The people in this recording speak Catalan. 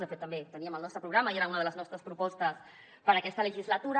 de fet també ho teníem el nostre programa i era una de les nostres propostes per a aquesta legislatura